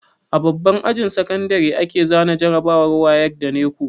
A babban ajin sakandare ake zana jarabawar wayek da neco